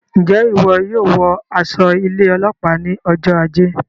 Njẹ iwọ yóò wọ aṣọ ilé ọlópàá ní ọjọ ajé?